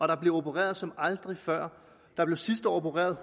der bliver opereret som aldrig før der blev sidste år opereret